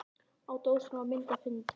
Á dósinni var mynd af hundi.